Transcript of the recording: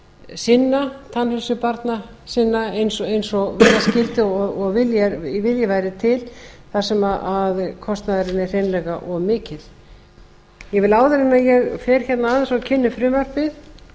sinna tannheilsu barna sinna eins og vera skyldi og vilji væri til þar sem kostnaðurinn er hreinlega of mikill ég vil áður en ég fer hérna aðeins og kynni frumvarpið